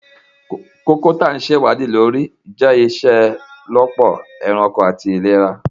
Koko ti a ṣe iwadi le lori jẹ iṣelọpọ ẹranko ati ilera